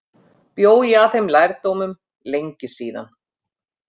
Bjó ég að þeim lærdómum lengi síðan.